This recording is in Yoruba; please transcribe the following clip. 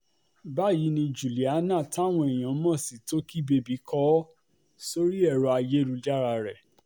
báyìí ni juliana táwọn èèyàn mọ̀ sí tọ́kì bèbí kó o sorí ẹ̀rọ ayélujára rẹ̀